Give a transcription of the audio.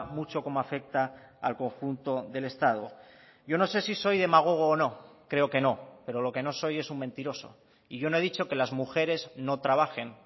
mucho cómo afecta al conjunto del estado yo no sé si soy demagogo o no creo que no pero lo que no soy es un mentiroso y yo no he dicho que las mujeres no trabajen